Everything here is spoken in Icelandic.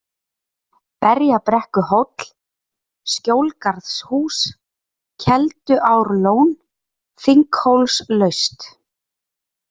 Berjabrekkuhóll, Skjólgarðshús, Kelduárlón, Þinghólslaut